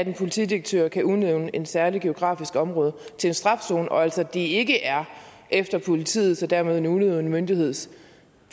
en politidirektør kan udnævne et særligt geografisk område til en strafzone og altså ikke er efter politiets og dermed en udøvende myndigheds